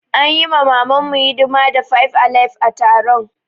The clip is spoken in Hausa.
An yi mamu hidima da five alive a taron.